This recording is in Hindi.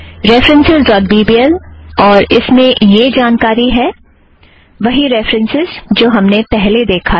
references dot B B L और इसमें यह जानकारी है वही रेफ़रन्सस् जो हमने पहले देखा था